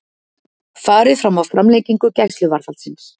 Farið fram á framlengingu gæsluvarðhalds